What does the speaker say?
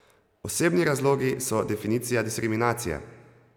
Osebni razlogi so definicija diskriminacije!